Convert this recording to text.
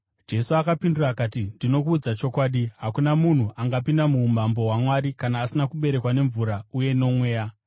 Jesu akapindura akati, “Ndinokuudza chokwadi, hakuna munhu angapinda muumambo hwaMwari kana asina kuberekwa nemvura uye noMweya.